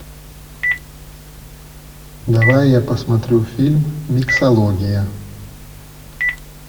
давай я посмотрю фильм миксология